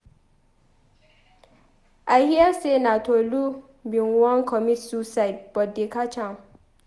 I hear say Tolu bin wan comit suicide but they catch am.